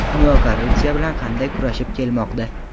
Dunyo korrupsiya bilan qanday kurashib kelmoqda?.